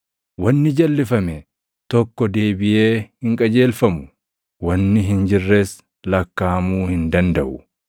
Wanni jalʼifame tokko deebiʼee hin qajeelfamu; wanni hin jirres lakkaaʼamuu hin dandaʼu.